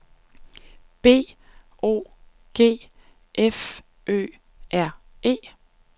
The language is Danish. B O G F Ø R E